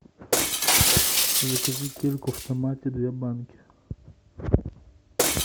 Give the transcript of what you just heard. закажи кильку в томате две банки